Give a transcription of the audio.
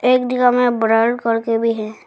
एक जगह में ब्लर करके भी है।